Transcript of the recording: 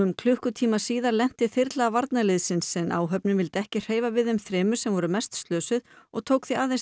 klukkutíma síðar lenti þyrla varnarliðsins en áhöfnin vildi ekki hreyfa við þeim þremur sem voru mest slösuð og tók því aðeins